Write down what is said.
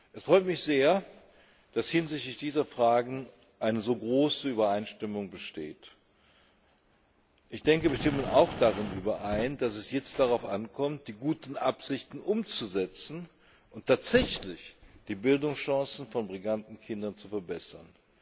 Es freut mich sehr, dass hinsichtlich dieser Fragen eine so große Übereinstimmung besteht. Ich denke, wir stimmen auch darin überein, dass es jetzt darauf ankommt, die guten Absichten umzusetzen und tatsächlich die Bildungschancen von Migrantenkindern zu verbessern.